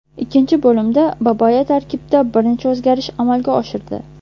Ikkinchi bo‘limda Babaya tarkibda bir necha o‘zgarish amalga oshirdi.